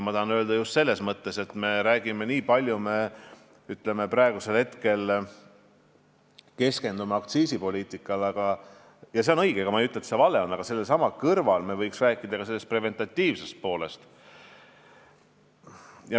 Ma tahan seda öelda just selles mõttes, et me praegu keskendume aktsiisipoliitikale – see on õige, ega ma ei ütle, et see vale on –, aga selle kõrval me võiksime rääkida ka preventiivsest poolest.